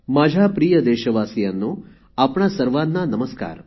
माझ्या प्रिय देशवासियांनो आपणा सर्वांना नमस्कार